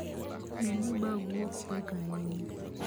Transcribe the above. Ne ni bagu ok pek ahinya.